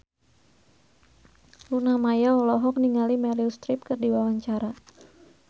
Luna Maya olohok ningali Meryl Streep keur diwawancara